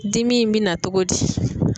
Dimi in mi na togo di?